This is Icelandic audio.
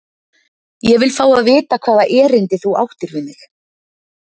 Ég vil fá að vita hvaða erindi þú áttir við mig?